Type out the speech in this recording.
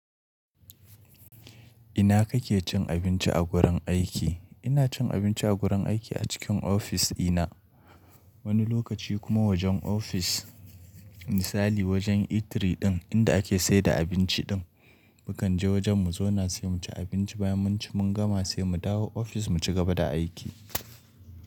Ina kake cin abinci a gurin aiki? Ina cin abinci a wurin aiki a cikin ofis dina, wani lokaci kuma wajen ofis misali wajen eatery ɗin, inda ake saida abinci ɗin. Mu kan je wajen mu zauna sai muci abinci bayan munci mun gama sai mu dawo ofis mu cigaba da aiki.